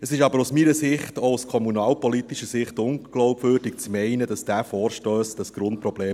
Es ist aber aus meiner Sicht, auch aus kommunalpolitischer Sicht, unglaubwürdig zu meinen, dieser Vorstoss löse das Grundproblem.